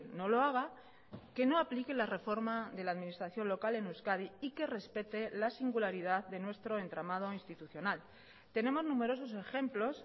no lo haga que no aplique la reforma de la administración local en euskadi y que respete la singularidad de nuestro entramado institucional tenemos numerosos ejemplos